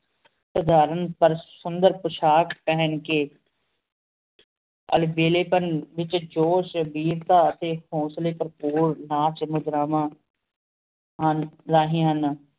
ਪੇਰ੍ਦਾਰਨ ਕਰ ਸੁਨ੍ਡਨ ਸੁੰਦਰ ਪੁਸ਼ਕ ਪਹਨ ਕੀ ਅਲ੍ਵੇਲ੍ਯ ਵੇਚ ਜੁਸ਼ ਬੇਟਾ ਟੀ ਹੁੰਸਾਲ੍ਯ ਭਰ ਪੁਰ ਨਾਚ ਨ੍ਘ੍ਰਾਵ੍ਨ ਹਨ ਨਾਹੀ ਹੁਣ